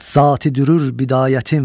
Zati dürür bidayətim.